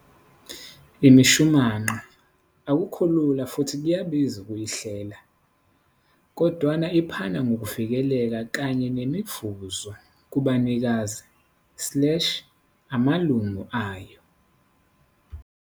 Imishumanqa akukho lula futhi kuyabiza ukuyihlela, kodwana iphana ngokuvikeleka kanye nemivuzo kubanikazi slash amalunga ayo.